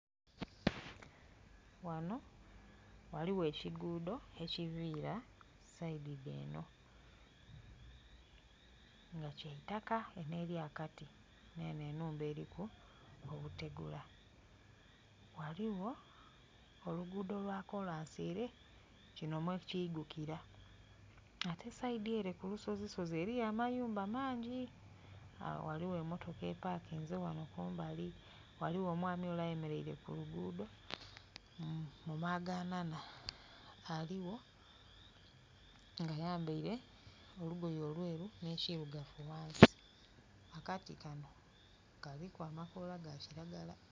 Wano waliwo ekigudho ekivira side dh'eno nga kya itaka eno eri akati neno enhumba eriku obutegula. Waliwo olugudho lwa kolansi ere kino mwe kigukira. Ate side ere kulusozisozi eriyo amayumba mangi aaa waliwo emotoka epakinze wano kumbali, waliwo omwami ole ayemeleire kulugudho mu maaganana, aliwo nga ayambeire olugoye olweru ne kirugavu wansi. Akati kano kaliku amakola ga kiragala